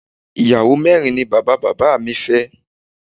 Ìyàwó mẹ́rin ni bàbá bàbá mi fẹ́